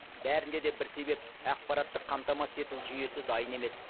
бәрінде де бір себеп ақпараттық қамтамасыз ету жүйесі дайын емес